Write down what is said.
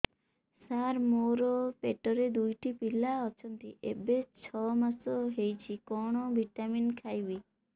ସାର ମୋର ପେଟରେ ଦୁଇଟି ପିଲା ଅଛନ୍ତି ଏବେ ଛଅ ମାସ ହେଇଛି କଣ ଭିଟାମିନ ଖାଇବି